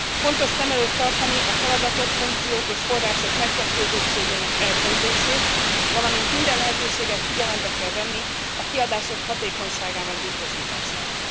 Fontos szem előtt tartani a feladatok, funkciók és források megkettőzöttségének elkerülését, valamint minden lehetőséget figyelembe kell venni a kiadások hatékonyságának biztosítására.